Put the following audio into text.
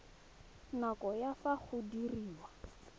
nako ya fa go diriwa